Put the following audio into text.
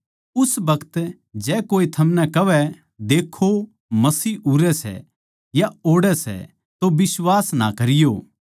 उस बखत जै कोए थमनै कहवै देक्खो मसीह उरै सै या ओड़ै सै तो बिश्वास ना करियो